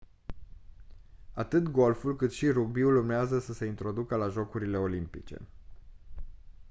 atât golful cât și rugbiul urmează să se întoarcă la jocurile olimpice